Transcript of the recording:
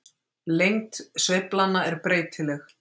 Lengd sveiflanna er breytileg.